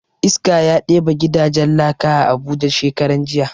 Iska ya ɗebe gidajen laka a abuja shekaran jiya